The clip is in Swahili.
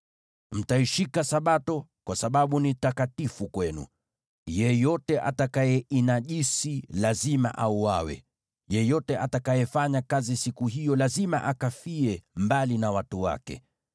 “ ‘Mtaishika Sabato, kwa sababu ni takatifu kwenu. Yeyote atakayeinajisi lazima auawe, yeyote atakayefanya kazi siku hiyo lazima akafie mbali na watu wake.